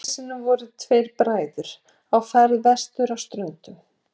eitt sinn voru tveir bræður á ferð vestur á ströndum